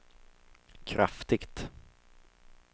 kraftigt